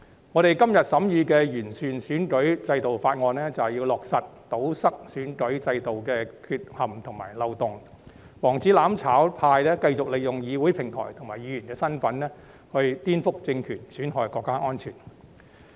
我們今天審議的《2021年完善選舉制度條例草案》，便是要堵塞選舉制度的缺陷和漏洞，防止"攬炒派"繼續利用議會平台和議員身份顛覆政權、損害國家安全。